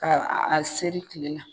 Aa a seri tile la